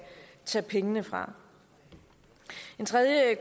tage pengene fra en tredje